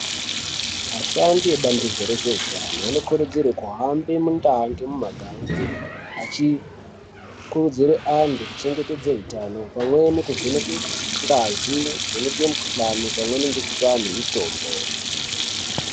Ashandi ebandiko rezveutano, anokurudzirwe kuhambe muntaa ngemumagange achikurudzire antu kuchengetedze utano pamweni kuvheneke ngazi kuvheneke mikhuhlani pamweni ngekupe anhu mitombo.